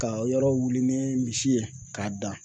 Ka yɔrɔ wili ni misi ye, k'a dan